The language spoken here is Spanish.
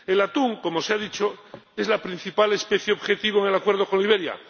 El atún —como se ha dicho— es la principal especie objetivo en el Acuerdo con Liberia